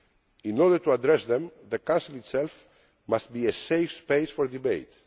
In order to address them, the Council itself must be a safe space for debate.